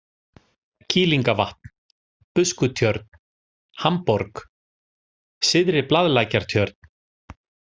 Kýlingavatn, Buskutjörn, Hamborg, Syðri-Blaðlækjartjörn